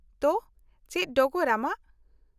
-ᱛᱚ, ᱪᱮᱫ ᱰᱚᱜᱚᱨ ᱟᱢᱟᱜ ?